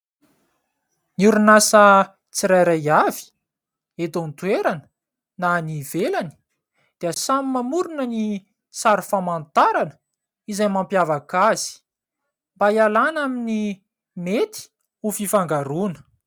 Ny orinasa tsirairay avy eto an-toerana na any ivelany dia samy mamorona ny sary famantarana izay mampiavaka azy mba hialàna amin'ny mety ho fifangaroana.